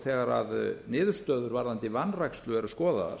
þegar niðurstöður varðandi vanrækslu eru skoðaðar